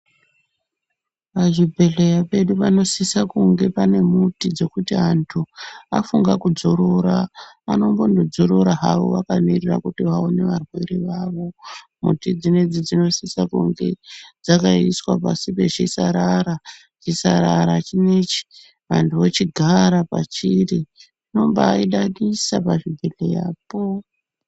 Pazvibhehlera pedu panosise kunge painemuti pekuti vantu vafunge kudzorora ,vanombodzorora havo vakamirira kuona varwere vavo .Miti dzona dzinosisa kunge dzakaiswa pasi pechisarara .Chisarara chinechi vantu vochigara pachiri. Zvinombaidadisa pazvibhehlerapo .